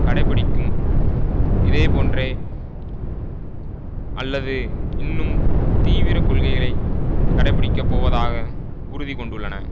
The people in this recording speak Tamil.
கடை பிடிக்கும் இதேபோன்றே அல்லது இன்னும் தீவிர கொள்கைகளை கடைபிடிக்கப்போவதாக உறுதிகொண்டுள்ளன